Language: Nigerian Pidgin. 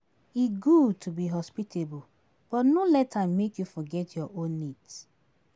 E good to be hospitable, but no let am make you forget your own needs.